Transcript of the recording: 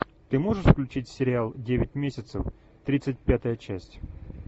ты можешь включить сериал девять месяцев тридцать пятая часть